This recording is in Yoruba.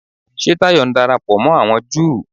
Ṣé Táyọ̀ ń darapọ̀ mọ́ àwọn Júù?